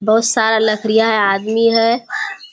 बहुत सारा लकड़ियाँ है आदमी है।